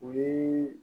O ye